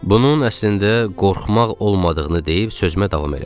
Bunun əslində qorxmaq olmadığını deyib sözümə davam elədim.